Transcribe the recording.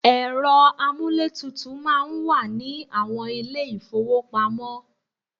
Ẹ̀rọ amúlétutù máa ń wà ní àwọn ilé-ìfówopamọ́.